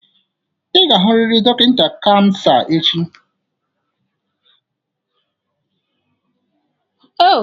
Ị ga-ahụrịrị dọkịta kansa echi!